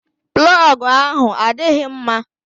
Plọgu ahụ adịghị mma.